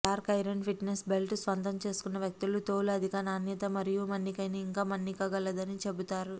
dark iron fitness belt స్వంతం చేసుకున్న వ్యక్తులు తోలు అధిక నాణ్యత మరియు మన్నికైన ఇంకా మన్నికగలదని చెబుతారు